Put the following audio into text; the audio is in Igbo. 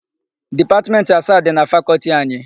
Dipatmentị asaa dị na Fakọltị anyị.